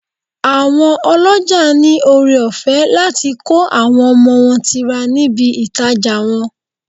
Àwọn ọlọ́jà ní ọrẹ ọ̀fẹ́ láti kó àwọn ọmọ wọn tira níbi ìtajà wọn.